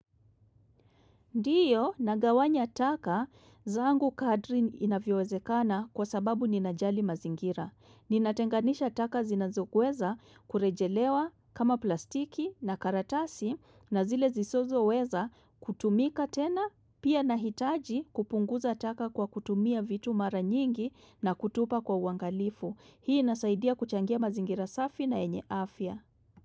Ndio nagawanya taka zangu kadri inavyowezekana kwa sababu ninajali mazingira. Ninatenganisha taka zinazoweza kurejelewa kama plastiki na karatasi na zile zisozo weza kutumika tena pia nahitaji kupunguza taka kwa kutumia vitu mara nyingi na kutupa kwa uangalifu. Hii inasaidia kuchangia mazingira safi na enye afya.